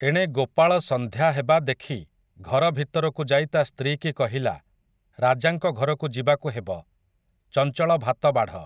ଏଣେ ଗୋପାଳ ସଂନ୍ଧ୍ୟା ହେବା ଦେଖି ଘର ଭିତରକୁ ଯାଇ ତା' ସ୍ତ୍ରୀକି କହିଲା, ରାଜାଙ୍କ ଘରକୁ ଯିବାକୁ ହେବ, ଚଂଚଳ ଭାତ ବାଢ଼ ।